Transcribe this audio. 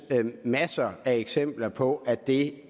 masser af eksempler på at det